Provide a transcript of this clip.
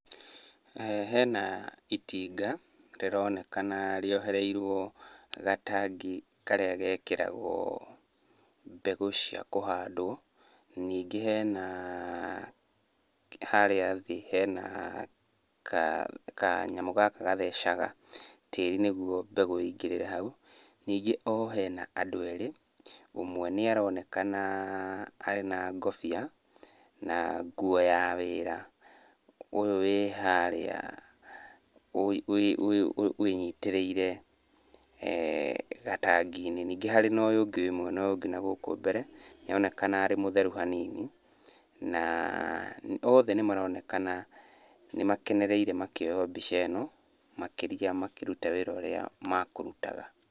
Hena itinga rĩronekana rĩohereirwo gatangi karĩa gekĩragwo mbegũ cia kũhandwo. Ningĩ hena harĩa thĩ hena kanyamũ gaka gathecaga tĩri, nĩguo mbegũ ĩingĩrĩre hau. Ningĩ o hena andũ erĩ, ũmwe nĩaronekana arĩ na ngũbia na nguo ya wĩra. Ũyũ wĩ harĩa wĩnyitĩrĩire eeh gatangi-inĩ. Ningĩ harĩ na ũyũ ũngĩ wĩ mwena ũyũ ũngĩ na gũkũ mbere, nĩaronekana arĩ mũtheru hanini, na othe nĩmaronekana nĩmakenereire makĩoywo mbica ĩno, makĩria makĩruta wĩra ũrĩa makũrutaga.